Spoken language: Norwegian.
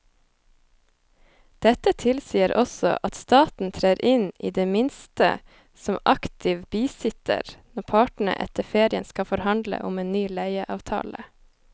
Dette tilsier også at staten trer inn i det minste som aktiv bisitter når partene etter ferien skal forhandle om en ny leieavtale.